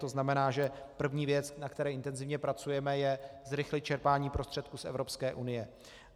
To znamená, že první věc, na které intenzivně pracujeme, je zrychlit čerpání prostředků z Evropské unie.